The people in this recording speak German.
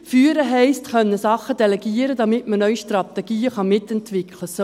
Führen heisst Sachen delegieren können, damit man neue Strategien mitentwickeln kann.